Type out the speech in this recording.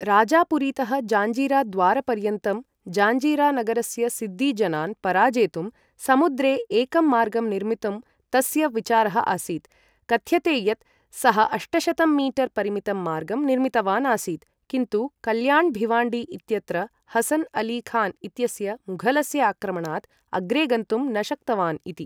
राजापुरीतः जाञ्जीराद्वारपर्यन्तं जाञ्जीरा नगरस्य सिद्दी जनान् पराजेतुं समुद्रे एकं मार्गं निर्मितुं तस्य विचारः आसीत्, कथ्यते यत् सः अष्टशतं मीटर् परिमितं मार्गम् निर्मितवान् आसीत्, किन्तु कल्याण् भिवाण्डी इत्यत्र हसन् अली खान् इत्यस्य मुघलस्य आक्रमणात् अग्रे गन्तुं न शक्तवान् इति।